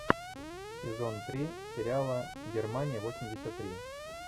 сезон три сериала германия восемьдесят три